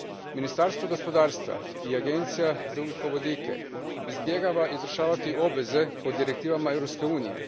Ministarstvo gospodarstva i Agencija za ugljikovodike izbjegavaju izvršavati obveze po direktivama Europske unije.